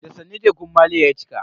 Da sannu tekun maliya ya cika.